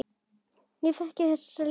Ég þekki þessa líðan.